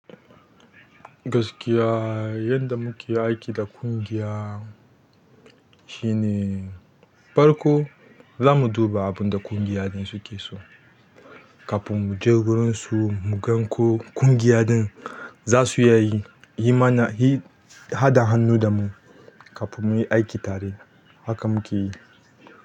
Gaskiya yanda muke aiki da ƙungiya shine farko za mu duba abunda ƙungiya ɗin suke so, kafin mu je wurin su mu gan ko ƙungiya ɗin za su iya yi, yi ma na, yi haɗa hannu da mu kafin muyi aiki tare. Haka muke yi.